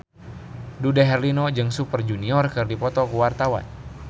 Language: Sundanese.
Dude Herlino jeung Super Junior keur dipoto ku wartawan